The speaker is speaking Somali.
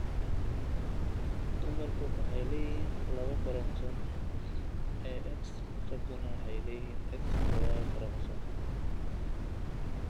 Dumarku waxay leeyihiin laba koromosoom ee X, ragguna waxay leeyihiin X iyo Y koromosoom.